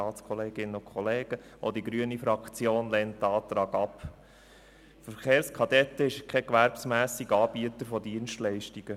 Die Verkehrskadetten sind keine gewerbsmässigen Anbieter von Dienstleistungen.